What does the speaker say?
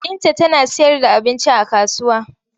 Binta tana sayarda abinci a kasuwa.